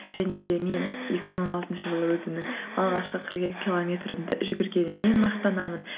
және де мен екі мың он алтыншы жылы өзімнің алғашқы қырық екі километрімді жүгіргеніммен мақтанамын